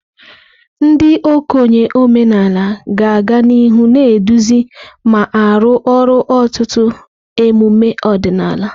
Ndị okenye omenala ga-aga n'ihu na-eduzi ma arụ ọrụ ọtụtụ emume ọdịnala.